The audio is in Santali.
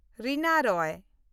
ᱨᱤᱱᱟ ᱨᱚᱭ